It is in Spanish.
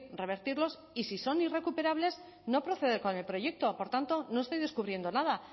revertirlos y si son irrecuperables no proceder con el proyecto por tanto no estoy descubriendo nada